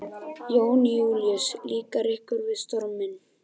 Jón Júlíus: Líkar ykkur við storminn?